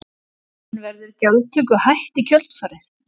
En verður gjaldtöku hætt í kjölfarið?